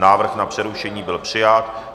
Návrh na přerušení byl přijat.